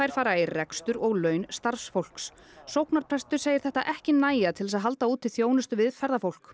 fara í rekstur og laun starfsfólks sóknarprestur segir þetta ekki nægja til að halda úti þjónustu við ferðafólk